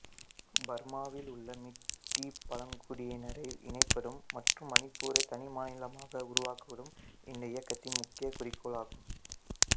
பர்மாவில் உள்ள மிட்டி பழங்குடியினரை இணைப்பதும் மற்றும் மணிப்பூரை தனிமாநிலமாக உருவாக்குவதும் இந்த இயக்கத்தின் முக்கிய குறிக்கோள் ஆகும்